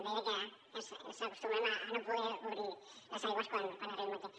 deia que acostumo a no poder obrir les aigües quan arribo aquí